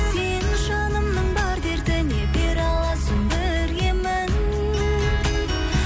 сен жанымның бар дертіне бере аласың бір емін